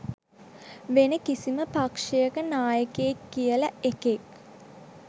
වෙන කිසිම පක්ශයක නායකයෙක් කියල එකෙක්